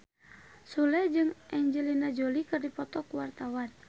Sule jeung Angelina Jolie keur dipoto ku wartawan